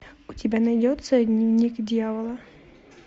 у тебя найдется дневник дьявола